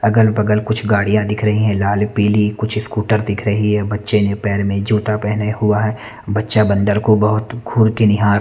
अगल बगल कुछ गाड़ियाँ दिख रही हैं लाल पिली कुछ स्कूटर दिख रही है बच्चे ने पैर में जूता पहने हुए है बच्चा बन्दर को गुर निहार रहा है।